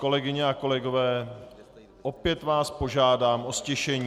Kolegyně a kolegové, opět vás požádám o ztišení.